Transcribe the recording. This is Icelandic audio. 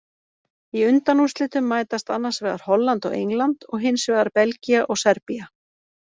Í undanúrslitum mætast annars vegar Holland og England og hinsvegar Belgía og Serbía.